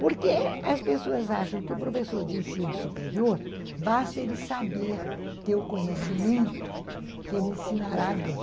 Porque as pessoas acham que o professor de ensino superior, basta ele saber, ter o conhecimento, que ele ensinará bem.